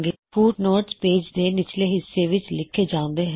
footnotes page ਦੇ ਨਿਚਲੇ ਹਿੱਸੇ ਵਿੱਚ ਲਿਖੇ ਜਾਉਂਦੇ ਨੇ